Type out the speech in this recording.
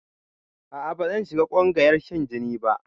A'a bazan shiga ƙungayar shan jini ba